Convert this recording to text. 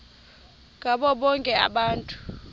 ngabo bonke abantu